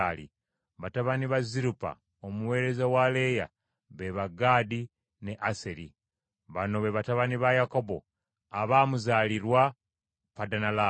Batabani ba Zirupa omuweereza wa Leeya be ba: Gaadi ne Aseri. Bano be batabani ba Yakobo abaamuzaalirwa mu Padanalaamu.